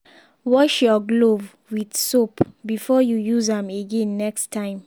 wash your glove with soap before you use am again next time